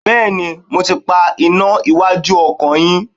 Bẹẹni, mo ti pa iná iwájú ọkọ̀ yín.